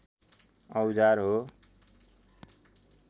औजार हो